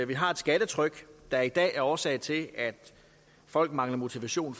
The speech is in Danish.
vi har et skattetryk der i dag er årsag til at folk mangler motivation